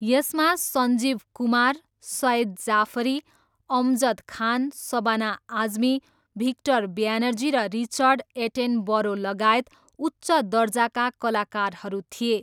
यसमा सञ्जीव कुमार, सइद जाफरी, अमजद खान, सबाना आजमी, भिक्टर ब्यानर्जी र रिचर्ड एटेनबरोलगायत उच्च दर्जाका कलाकारहरू थिए।